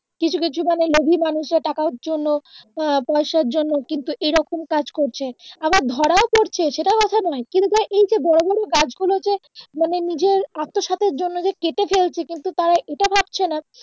কিছু কিছু মানে লোভী মানুষ টাকার জন্য আহ পয়সার জন্য কিন্তু এইরকম কাজ করছে আবার ধরাও পড়ছে সেটা কথা নয় কিন্তু ধর এইযে বড় বড় গাছ গুলো যে মানে নিজে আত্মস্বার্থের জন্য যে কেটে ফেলছে কিন্তু তারা এইটা ভাবছে নাহ